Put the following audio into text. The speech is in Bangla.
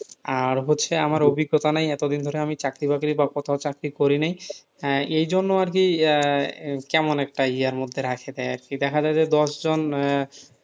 আর হচ্ছে আমার অভিজ্ঞতা নেই এতদিন ধরে আমি চাকরি-বাকরি বা কোথাও চাকরি করি নাই এজন্য আরকি আহ কেমন একটা মধ্যে রাখে দেয় আরকি, দেখা যাই যে দশ জন আহ